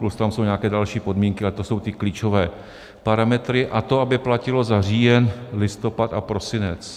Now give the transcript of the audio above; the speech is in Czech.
Plus tam jsou nějaké další podmínky, ale to jsou ty klíčové parametry, a to aby platilo za říjen, listopad a prosinec.